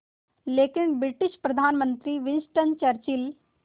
लेकिन ब्रिटिश प्रधानमंत्री Winston Churchill